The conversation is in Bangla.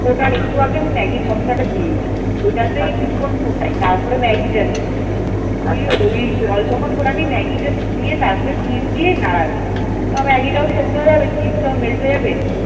ফোটার একটু আগে আমি ম্যাগির মসলাটা দিয়ে দিই। ওইটা তে কিছুক্ষণ ফোটাই তারপরে ম্যাগিটা দিই তুই ওই জল যখন ফোটাবি ম্যাগীটা দিয়ে তারপরে cheese দিয়ে নাড়াবি তা ম্যাগিটা ও সেদ্ধ হয়ে যাবে cheese টাও melt হয়ে যাবে।